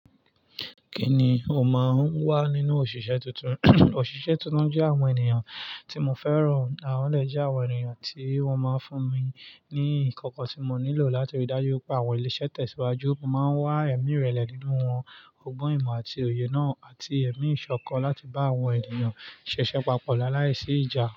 Kí ni o máa ń wá nínú òṣìṣẹ́ tuntun? Òṣìṣẹ́ tuntun jẹ́ àwọn ènìyàn tí mo fẹ́ràn. Àwọn ẹlẹ́yi je àwọn ènìyàn tí wọ́n máa ń fún mi ní ìkankan tí mo nílò láti rí dájú pé àwọn ilé-iṣẹ́ tẹ̀síwájú. Mo máa ń wá ẹ̀mí ìrẹ̀lẹ̀ nínú wọn, ọgbọ́n ìmọ̀ àti òye náà, àti ẹ̀mí ìṣọ̀kan láti bá àwọn ènìyàn ṣẹ̀ṣẹ̀ papọ̀ láàísí ìjà.